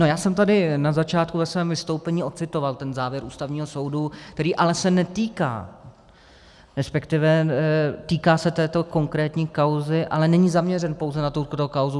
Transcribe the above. No, já jsem tady na začátku ve svém vystoupení ocitoval ten závěr Ústavního soudu, který ale se netýká, respektive týká se této konkrétní kauzy, ale není zaměřen pouze na tuto kauzu.